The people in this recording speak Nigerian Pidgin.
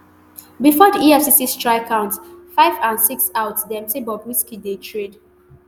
bifor di efcc strike counts five and six out dem say bobrisky dey trade